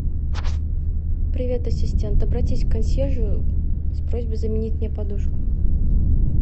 привет ассистент обратись к консьержу с просьбой заменить мне подушку